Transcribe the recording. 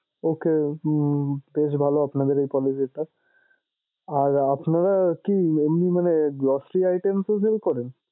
Okay আহ বেশ ভালো আপনাদের এই policy টা। আর আপনারা কি এমনি মানে grocery item ও sale করেন?